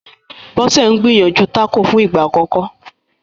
Bose n gbìyànjú Taco fún ìgbà àkókò